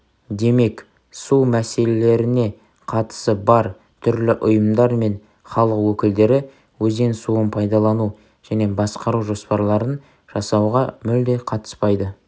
демек су мәселелеріне қатысы бар түрлі ұйымдар мен халық өкілдері өзен суын пайдалану және басқару жоспарларын жасауға мүлде қатыспайды